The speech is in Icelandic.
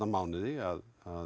mánuði að